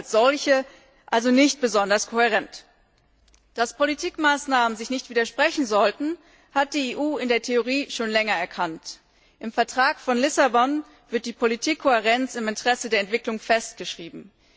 die EU als solche also nicht besonders kohärent. Dass Politikmaßnahmen sich nicht widersprechen sollten, hat die EU in der Theorie schon länger erkannt. Im Vertrag von Lissabon wird die Politikkohärenz im Interesse der Entwicklung festgeschrieben.